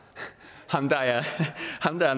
ham der er